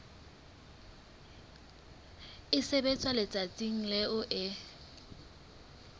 e sebetswa letsatsing leo e